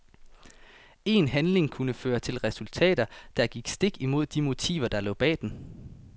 En handling kunne føre til resultater, der gik stik imod de motiver der lå bag den.